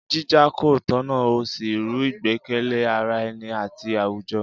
Jíjà kò tọ̀nà ó sì rú ìgbẹ́kẹ̀lé ara ẹni àti àwùjọ.